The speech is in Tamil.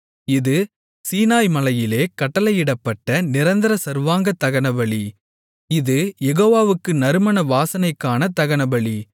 இது சீனாய் மலையிலே கட்டளையிடப்பட்ட நிரந்தர சர்வாங்கதகனபலி இது யெகோவாவுக்கு நறுமண வாசனைக்கான தகனபலி